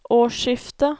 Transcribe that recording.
årsskiftet